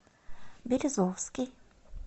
березовский